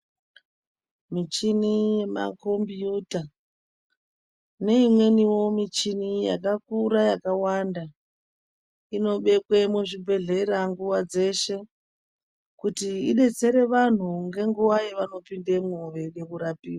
Michini yemakombiyuta neimweniwo muchini yakakura yakawanda. Inobekwe muzvibhedhlera nguva dzeshe kuti idetsere vantu ngenguva yavanopindemwo veida kurapiva.